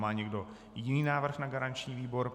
Má někdo jiný návrh na garanční výbor?